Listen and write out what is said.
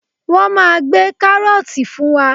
Wọ́n máa gbé kárọ́ọ̀tì fún wa.